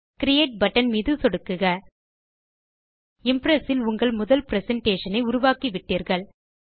create button மீது சொடுக்குக Impress இல் உங்கள் முதல் பிரசன்டேஷன் ஐ உருவாக்கிவிட்டீர்கள்